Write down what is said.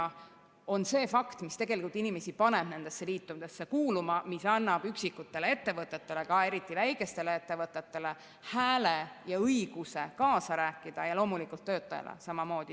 See on see fakt, mis tegelikult paneb inimesi nendesse liitudesse kuuluma, mis annab üksikutele ettevõtetele, ka väikestele ettevõtetele, hääle ja õiguse kaasa rääkida, ja loomulikult töötajale samamoodi.